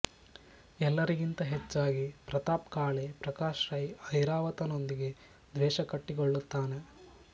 ಎಲ್ಲರಿಗಿಂತ ಹೆಚ್ಚಾಗಿ ಪ್ರತಾಪ್ ಕಾಳೆ ಪ್ರಕಾಶ್ರೈ ಐರಾವತನೊಂದಿಗೆ ದ್ವೇಷ ಕಟ್ಟಿಕೊಳ್ಳುತ್ತಾನೆ